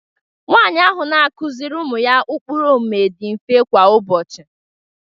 nwanyị ahụ na-akụziri ụmụ ya ụkpụrụ omume dị mfe kwa ụbọchị